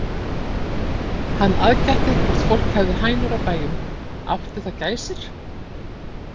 Hann aðgætti hvort fólk hefði hænur á bæjum, átti það gæsir?